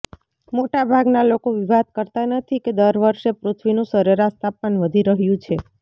મોટાભાગના લોકો વિવાદ કરતા નથી કે દર વર્ષે પૃથ્વીનું સરેરાશ તાપમાન વધી રહ્યું છે